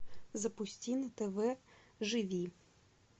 запусти на тв живи